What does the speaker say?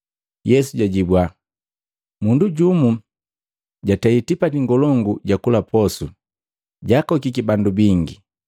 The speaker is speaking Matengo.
Yesu jajibua, “Mundu jumu jatei tipati ngolongu ja kula posu, jaakokiki bandu bingi.